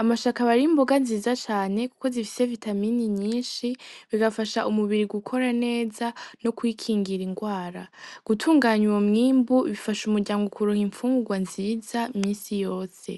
,Amashu akaba ari imboga nziza cane kuko zifise vitamine nyishi bigafasha umubiri gukora neza no kwikingira ingwara gutunganya uwo mwimbu bifasha umuryango kuronka infungurwa nziza iminsi yose.